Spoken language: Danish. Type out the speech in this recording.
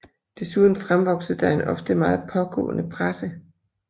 Desuden fremvoksede der en ofte meget pågående presse